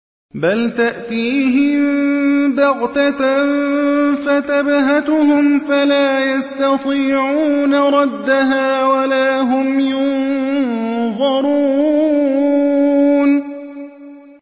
بَلْ تَأْتِيهِم بَغْتَةً فَتَبْهَتُهُمْ فَلَا يَسْتَطِيعُونَ رَدَّهَا وَلَا هُمْ يُنظَرُونَ